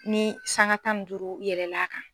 Ni sanga tan ni duuru yɛlɛl'a kan